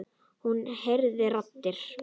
Hún heyrir raddir.